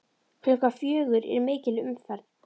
Klukkan fjögur er mikil umferð.